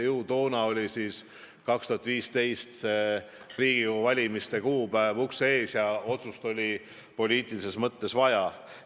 Aga siis, aastal 2015 oli Riigikogu valimiste kuupäev ukse ees ja otsust oli poliitilises mõttes vaja.